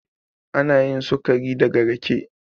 Anayin sukari daga rake.